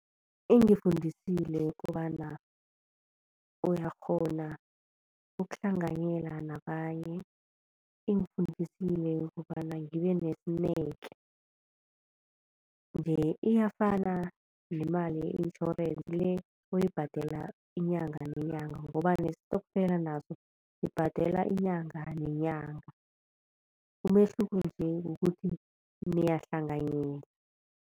Ingifundisile kobana uyakghona ukuhlanganyela nabanye. Ingifundisile kobana ngibe nesineke, nje iyafana nemali ye-itjhorense le oyibhadela inyanga nenyanga ngoba nestokfela naso sibhadelwa inyanga nenyanga. Umehluko nje kukuthi niyahlanganyela.